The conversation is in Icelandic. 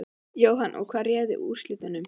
Jóhanna: Og hvað réði úrslitum?